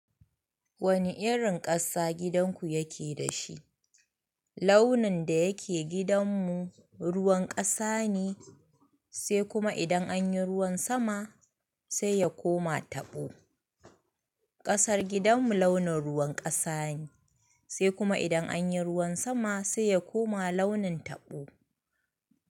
Wani irin ƙasa gidanku yake da shi? Launin da yake gidanmu ruwan ƙasa ne sai kuma idan anyi ruwan sama sai ya koma tabo. Ƙasar gidanmu launin ruwan ƙasa ne sai kuma idan anyi ruwan sama sai ya koma launin tabo.